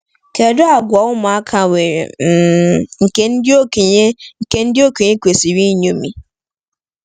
Kedu àgwà ụmụaka nwere um nke ndị okenye nke ndị okenye kwesịrị ịṅomi?